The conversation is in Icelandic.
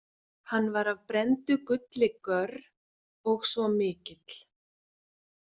Hann var af brenndu gulli görr og svo mikill.